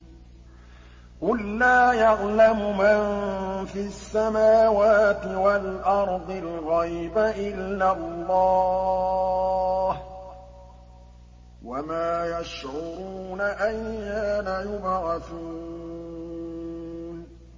قُل لَّا يَعْلَمُ مَن فِي السَّمَاوَاتِ وَالْأَرْضِ الْغَيْبَ إِلَّا اللَّهُ ۚ وَمَا يَشْعُرُونَ أَيَّانَ يُبْعَثُونَ